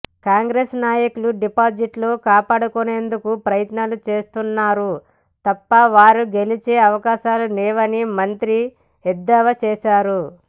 కాంగ్రెస్ నాయకులు డిపాజిట్లు కాపాడుకునేందుకు ప్రయత్నాలు చేస్తున్నారు తప్ప వారు గెలిచే అవకాశాలు లేవని మంత్రి ఎద్దేవా చేశారు